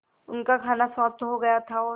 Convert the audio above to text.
उनका खाना समाप्त हो गया था और